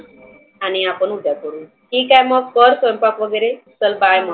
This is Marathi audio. आणि आपण उद्या करु ठिक आहे मग कर स्वयंपाक वगैरे. चल bye मग.